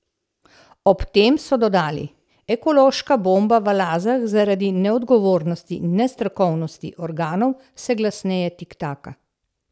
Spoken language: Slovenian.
Ob tem so dodali: "Ekološka bomba v Lazah zaradi neodgovornosti in nestrokovnosti organov vse glasneje tiktaka.